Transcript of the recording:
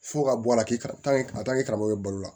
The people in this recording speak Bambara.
Fo ka bɔ a la k'i ka karamɔgɔ ye balo la